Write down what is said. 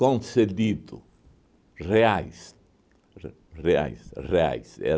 Concedido, reais, re reais, reais.